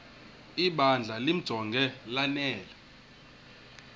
ibandla limjonge lanele